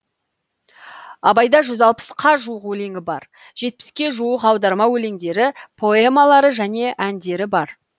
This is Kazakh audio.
абайда жүз алпысқа жуық өлеңі бар жетпіске жуық аударма өлеңдері поэмалары және әндері бар